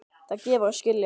Það gefur að skilja.